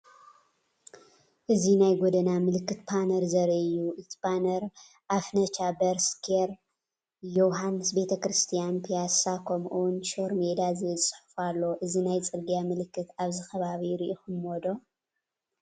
እዚ ናይ ጎደና ምልክት ፓነር ዘርኢ እዩ። እቲ ፓነር “ኣፍነቻ በር ስኬር”፣ “የውሓንስ ቤተ ክርስትያን”፣ “ፕያሳ” ከምኡ’ውን “ሾር ሜዳ” ዝብል ጽሑፍ ኣሎ። እዚ ናይ ጽርግያ ምልክት ኣብዚ ከባቢ ርኢኹምዎ ዶ?